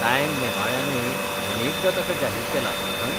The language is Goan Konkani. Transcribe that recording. टायम नेमाळ्यानूय अनेकदां ताका जाहीर केला, न्हय?